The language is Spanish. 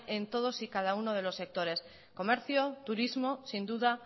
en todos y cada uno de los sectores comercio turismo sin duda